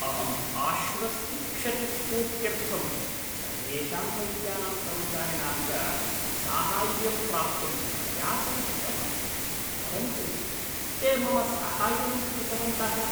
अहम् आश्वस्तिक्षतिपूर्त्यर्थं सर्वेषां वैद्यानां कर्मचारिणां च साहाय्यं प्राप्तुं प्रयासं कृतवान्। परन्तु ते मम साहाय्यं न कृतवन्तः।